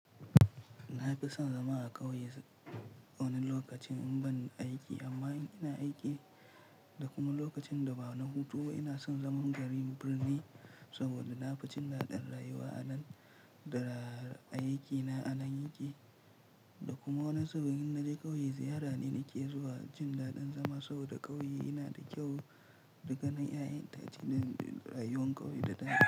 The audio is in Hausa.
Na fi son zama a ƙauye wani lokacin in ban aiki amma in ina aiki da kuma lokacin da ba na hutu ba ina son zaman garin birni saboda na fi jin daɗin rayuwa a nan da a aikina a nan yake. Da kuma wani zubin in naje ƙauye ziyara ne nake zuwa jin daɗin zama saboda ƙauye yana da kyau daganin yayan itace na rayuwar ƙauye da daɗi.